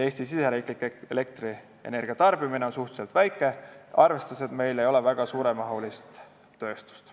Eesti riigisisene elektrienergia tarbimine on suhteliselt väike, arvestades, et meil ei ole väga suuremahulist tööstust.